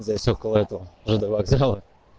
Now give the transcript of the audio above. здесь около этого жд вокзала